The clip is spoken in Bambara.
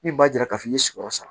Min b'a jira k'a fɔ i y'i sigiyɔrɔ san